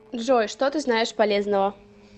джой что ты знаешь полезного